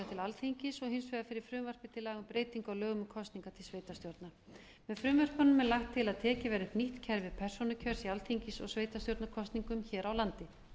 alþingis og hins vegar fyrir frumvarpi til laga um breytingu á lögum um kosningar til sveitarstjórna með frumvörpunum er lagt til að tekið verði upp nýtt kerfi persónukjörs í alþingis og sveitarstjórnarkosningum hér á landi